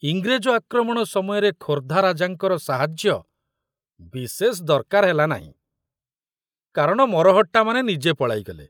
ଇଂରେଜ ଆକ୍ରମଣ ସମୟରେ ଖୋର୍ଦ୍ଧା ରାଜାଙ୍କର ସାହାଯ୍ୟ ବିଶେଷ ଦରକାର ହେଲା ନାହିଁ କାରଣ ମରହଟ୍ଟାମାନେ ନିଜେ ପଳାଇଗଲେ।